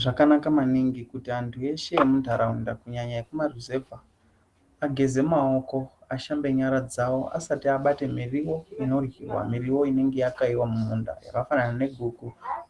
Zvakanaka maningi kuti antu eshe emundaraunda kunyanya ekumaruzevha ageze maoko ashambe nyara dzawo asati abate miriwo inoryiwa miriwo inenge yakaiwa mumunda yakafanana neguku